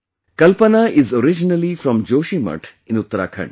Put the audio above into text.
Kalpana is originally from Joshimath in Uttarakhand